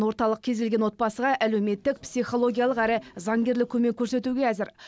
орталық кез келген отбасыға әлеуметтік психологиялық әрі заңгерлік көмек көрсетуге әзір